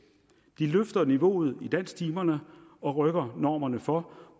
de løfter niveauet i dansktimerne og rykker normerne for